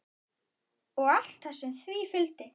Og allt sem því fylgdi.